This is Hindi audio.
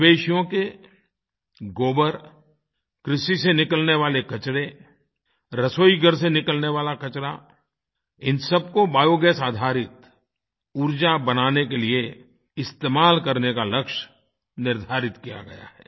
मवेशियों के गोबर कृषि से निकलने वाले कचरे रसोई घर से निकलने वाला कचरा इन सबको बायोगैस आधारित उर्जा बनाने के लिए इस्तेमाल करने का लक्ष्य निर्धारित किया गया है